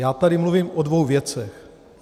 Já tady mluvím o dvou věcech.